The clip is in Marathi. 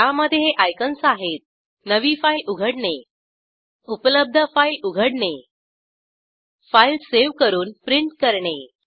त्यामधे हे आयकन्स आहेत नवी फाईल उघडणे उपलब्ध फाईल उघडणे फाईल सावे करून प्रिंट करणे